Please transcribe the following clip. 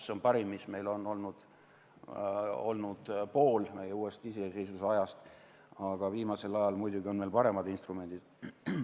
See on parim, mis meil on olnud poole meie uuest iseseisvusajast, aga viimasel ajal on muidugi veel paremad instrumendid.